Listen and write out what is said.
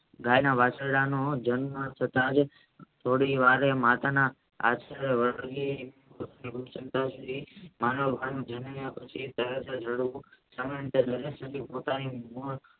ગાયના વાછરડાને જન્મ થતા થોડીવારે માતાના